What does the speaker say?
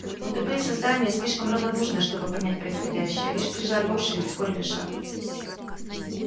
но тупые создания слишком равнодушные чтобы понять происходящее лишь прижали уши и ускорили шаг